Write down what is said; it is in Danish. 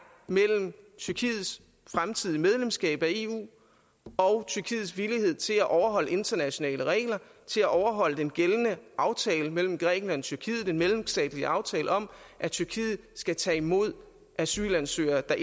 mellem tyrkiets fremtidige medlemskab af eu og tyrkiets villighed til at overholde internationale regler til at overholde den gældende aftale mellem grækenland og tyrkiet altså den mellemstatslige aftale om at tyrkiet skal tage imod asylansøgere der